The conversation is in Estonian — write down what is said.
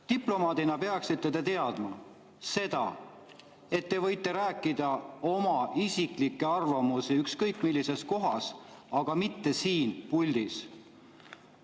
Diplomaadina peaksite te teadma, et te võite rääkida oma isiklikest arvamustest ükskõik millises kohas, aga mitte siin puldis.